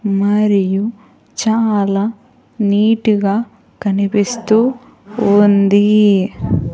మరియు చాలా నీట్ గా కనిపిస్తూ ఉంది.